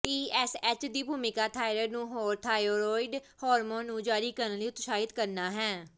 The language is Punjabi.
ਟੀਐਸਐਚ ਦੀ ਭੂਮਿਕਾ ਥਾਇਰਾਇਡ ਨੂੰ ਹੋਰ ਥਾਈਰੋਇਡ ਹਾਰਮੋਨ ਨੂੰ ਜਾਰੀ ਕਰਨ ਲਈ ਉਤਸ਼ਾਹਿਤ ਕਰਨਾ ਹੈ